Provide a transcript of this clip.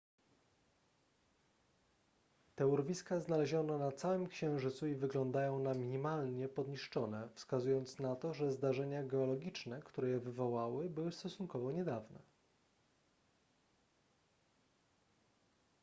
te urwiska znaleziono na całym księżycu i wyglądają na minimalnie podniszczone wskazując na to że zdarzenia geologiczne które je wywołały były stosunkowo niedawne